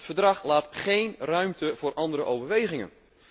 Het Verdrag laat geen ruimte voor andere overwegingen.